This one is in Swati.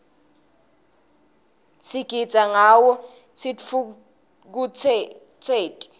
sigitsa ngawo sitfukutseti